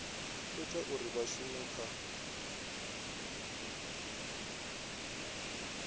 ita uri vha shume kha